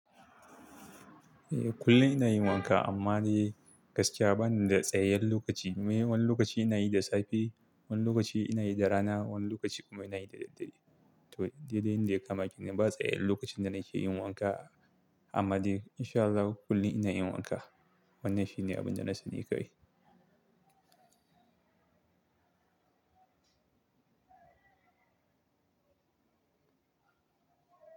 Eh, kullum ina yin wanka amma dai gaskiya bani da tsayayyen lokaci. Me wani lokaci ina yi da safe, wani lokaci ina yi da rana, wani lokaci kuma ina yi da daddare. To, dai dai yanda ya kama kenan, ba tsayayyen lokacin da nake yin wanka amma dai insha Allahu kullum ina yin wanka. Wannan shine abin da na sani kai.